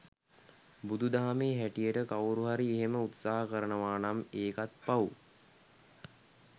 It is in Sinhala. බුදු දහමේ හැටියට කවුරු හරි එහෙම උත්සාහ කරනවානම් ඒකත් පව්.